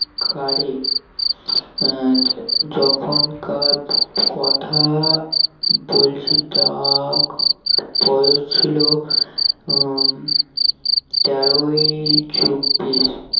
card এ আহ যখনকার কথা বলছি তার বয়স ছিল উম তের এর চব্বিশ